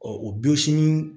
Ɔ o bi sini